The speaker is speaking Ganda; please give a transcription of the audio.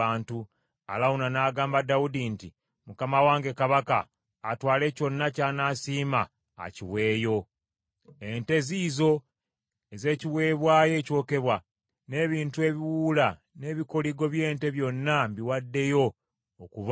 Alawuna n’agamba Dawudi nti, “Mukama wange kabaka atwale kyonna ky’anaasiima akiweeyo. Ente ziizo ez’ekiweebwayo ekyokebwa, n’ebintu ebiwuula n’ebikoligo by’ente byonna mbiwaddeyo okuba enku.